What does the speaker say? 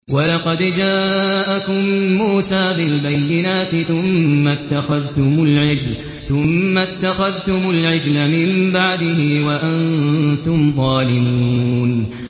۞ وَلَقَدْ جَاءَكُم مُّوسَىٰ بِالْبَيِّنَاتِ ثُمَّ اتَّخَذْتُمُ الْعِجْلَ مِن بَعْدِهِ وَأَنتُمْ ظَالِمُونَ